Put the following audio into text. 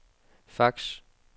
fax